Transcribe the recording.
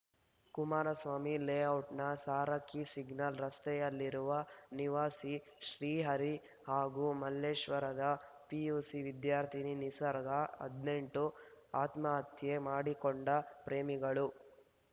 ಕುಮಾರಸ್ವಾಮಿ ಲೇಔಟ್‌ನ ಸಾರಕ್ಕಿ ಸಿಗ್ನಲ್‌ ರಸ್ತೆಯಲ್ಲಿರುವ ನಿವಾಸಿ ಶ್ರೀಹರಿ ಹಾಗೂ ಮಲ್ಲೇಶ್ವರದ ಪಿಯುಸಿ ವಿದ್ಯಾರ್ಥಿನಿ ನಿಸರ್ಗ ಹದಿನೆಂಟು ಆತ್ಮಹತ್ಯೆ ಮಾಡಿಕೊಂಡ ಪ್ರೇಮಿಗಳು